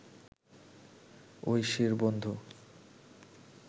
ঐশির বন্ধু